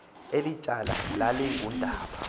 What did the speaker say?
eli tyala lalingundaba